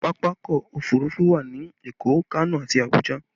Pápákọ̀ òfurufú wà ní Èkó, Kano àti Abuja